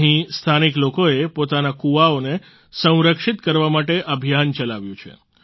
અહીં સ્થાનિક લોકોએ પોતાના કૂવાઓને સંરક્ષિત કરવા માટે અભિયાન ચલાવ્યું છે